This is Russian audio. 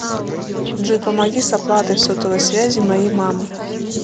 джой помоги с оплатой сотовой связи моей мамы